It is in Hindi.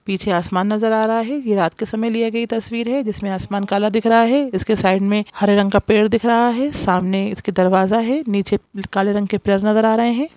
पीछे आसमान नजर आ रहा है ये रात के समय लिया गया तस्वीर है जिसमें आसमान काला दिख रहा है इसके साइड में हरे रंग का पेड़ दिख रहा है सामने इसके दरवाजा है नीचे काले रंग के पिलर नजर आ रहें हैं।